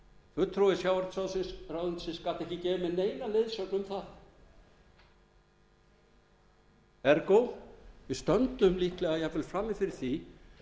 fulltrúi sjávarútvegsráðuneytisins gat ekki gefið mér neina leiðsögn um það ergó við stöndum líklega frammi fyrir því